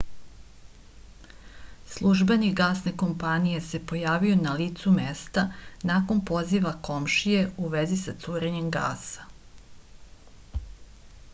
službenik gasne kompanije se pojavio na licu mesta nakon poziva komšije u vezi sa curenjem gasa